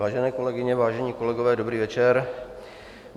Vážené kolegyně, vážení kolegové, dobrý večer.